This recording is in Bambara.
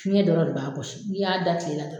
Fiɲɛ dɔrɔn de b'a kɔsin n'u y'a da kile la